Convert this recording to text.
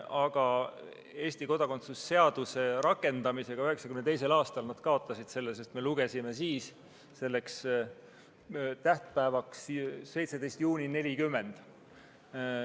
Aga Eesti kodakondsuse seaduse rakendamisega 1992. aastal nad kaotasid selle kodakondsuse, sest me seadsime siis tähtaja piiriks 17. juuni 1940.